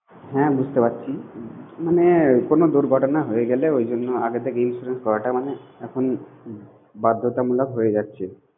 হ্যাঁ বুঝতে পারছি। মানে কোন দূর্ঘটনা হয়ে গেলে, ওই জন্য আগে থেকেই insurance করাটা মানে এখন বাধ্যতামূলক হয়ে যাচ্ছে।